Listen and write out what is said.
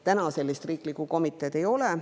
Täna sellist riiklikku komiteed ei ole.